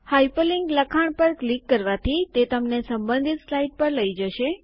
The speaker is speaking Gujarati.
હાયપરલીન્ક લખાણ પર ક્લિક કરવાથી તે તમને સંબંધિત સ્લાઇડ પર લઈ જશે